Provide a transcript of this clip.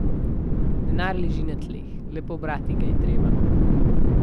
Denar leži na tleh, le pobrati ga je treba.